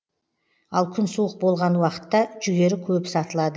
ал күн суық болған уақытта жүгері көп сатылады